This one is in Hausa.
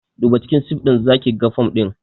Duba cikin sif ɗinnan zakiga fom ɗin